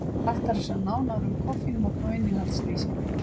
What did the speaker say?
Hægt er sjá nánar um koffínmagn á innihaldslýsingu.